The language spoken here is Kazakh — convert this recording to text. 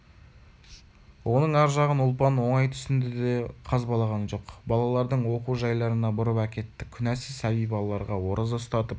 оның ар жағын ұлпан оңай түсінді де қазбалаған жоқ балалардың оқу жайларына бұрып әкетті күнәсіз сәби балаларға ораза ұстатып